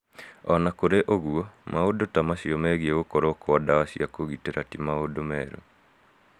O na kũrĩ ũguo, maũndũ ta macio megiĩ gukorwo kwa ndawa cia kũgitĩra ti maũndũ merũ.